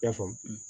I y'a faamu